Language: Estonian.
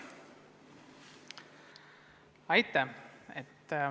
Aitäh!